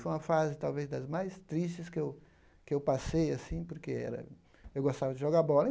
Foi uma fase, talvez, das mais tristes que eu que eu passei, assim, porque era eu gostava de jogar bola.